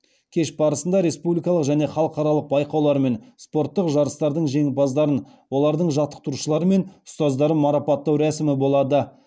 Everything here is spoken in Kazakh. кеш барысында республикалық және халықаралық байқаулар мен спорттық жарыстардың жеңімпаздарын олардың жаттықтырушылары мен ұстаздарын марапаттау рәсімі болады